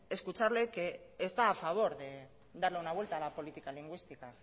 escucharle que está a favor de darle una vuelta a la política lingüística